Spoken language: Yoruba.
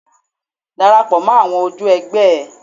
Darapọ̀ mọ́ àwọn ojú ẹ̀gbẹ́ ẹ.